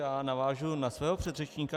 Já navážu na svého předřečníka.